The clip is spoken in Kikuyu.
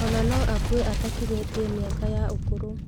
Ona no akue atakinyĩtie mĩaka ya ũkũrũ